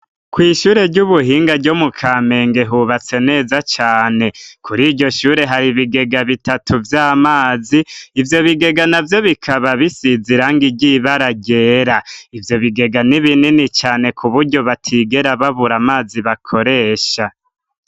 Kw'ishure ry'ubuhinga ryo mu Kamenge, hubatse neza cane. Kur' iryo shure, hari ibigega bitatu vy'amazi. Ivyo bigega navyo bikaba bisize irangi ry'ibara ryera. Ivyo bigega n'ibinini cane, k'uburyo batigera babura amazi bakoresha.